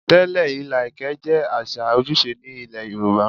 Tẹ́lẹ̀, ilà ẹ̀kẹ́ jẹ́ àṣà ojúṣe ní ilé Yorùbá.